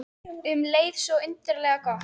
Og um leið svo undarlega gott.